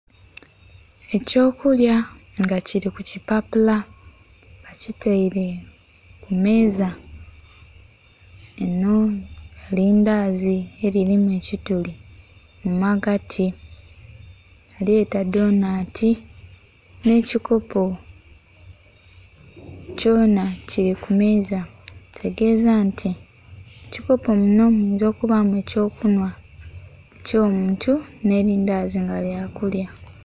Eky'okulya nga kili ku kipapula, bakitaire ku meeza. Linho lindazi elilimu ekituli mu magati, balyeta donati, nh'ekikopo kyona kili ku meeza. Kitegeeza nti mu kikopo kinho muyinza okubaamu eky'okunhwa eky'omuntu nh'elindazi nga lya kulya.